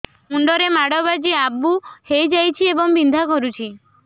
ମୁଣ୍ଡ ରେ ମାଡ ବାଜି ଆବୁ ହଇଯାଇଛି ଏବଂ ବିନ୍ଧା କରୁଛି